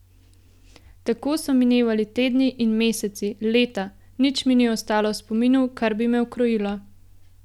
Tako so minevali tedni in meseci, leta, nič mi ni ostalo v spominu, kar bi me ukrojilo.